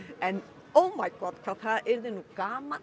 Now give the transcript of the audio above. en hvað það yrði nú gaman